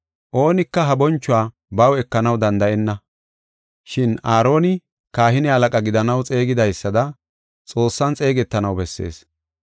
Oonika ha bonchuwa baw ekanaw danda7enna, shin Aaroni kahine halaqa gidanaw xeegidaysada Xoossan xeegetanaw bessees.